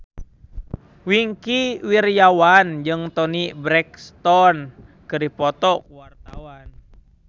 Wingky Wiryawan jeung Toni Brexton keur dipoto ku wartawan